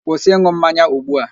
Kwụsị ịn̄ụ mmanya ugbu a!